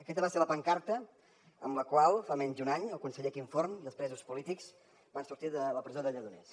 aquesta va ser la pancarta amb la qual fa menys d’un any el conseller quim forn i els presos polítics van sortir de la presó de lledoners